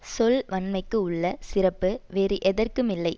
சொல்வன்மைக்கு உள்ள சிறப்பு வேறு எதற்குமில்லை